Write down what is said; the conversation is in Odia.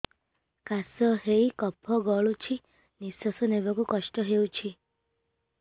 କାଶ ହେଇ କଫ ଗଳୁଛି ନିଶ୍ୱାସ ନେବାକୁ କଷ୍ଟ ହଉଛି